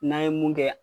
N'an ye mun kɛ